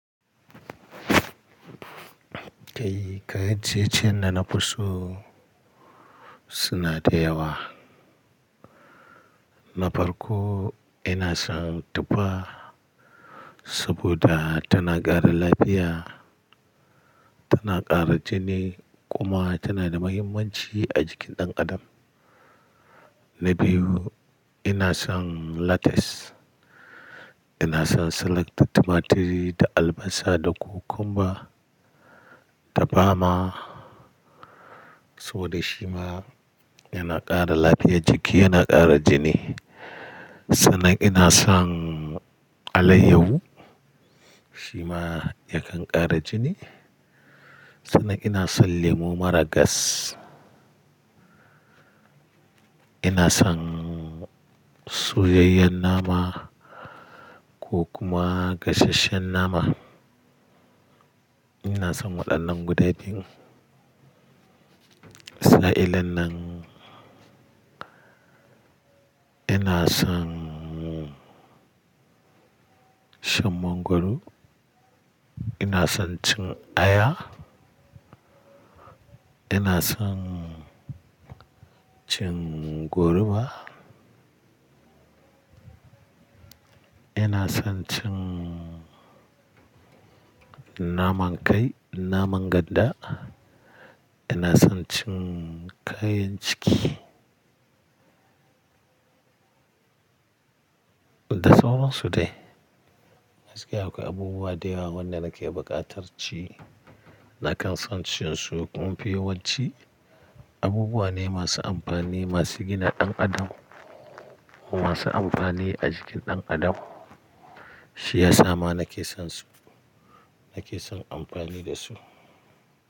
Kai kayan ciye-ciyen da nafi so suna dayawa. Na farko ina son tuffa saboda tana ƙara lafiya, tana ƙara jini kuma tana da mahimmanci a jikin ɗan adam. Na biyu ina son lettuce, ina son salata, tumaturi da albasa da cucumber da bama saboda shi ma yana ƙara lafiyar jiki yana ƙara jini. Sannan ina son alayyahu shi ma yakan ƙara jini. Sannan ina son lemu mara gas. Ina son soyayyen nama ko kuma gasasshen nama. Ina son waɗannan guda biyun. Sa'ilin nan ina son shan mangoro, ina son cin aya, ina son cin goruba, ina son cin naman kai, naman ganda, ina son cin kayan ciki. Da sauransu dai. Gaskiya akwai abubuwa dayawa wanda nake buƙatar ci. Nakan son cin su. Kun mafi yawanci abubuwa ne masu amfani, masu gina ɗan adam masu amfani a jikin ɗan adam. Shi ya sama nake son su, nake son amfani da su.